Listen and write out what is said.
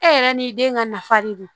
E yɛrɛ ni den ka nafa de don